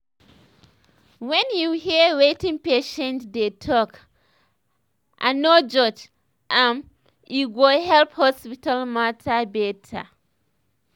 when you hear wetin patients dey talk and no judge am e go help hospital matter bette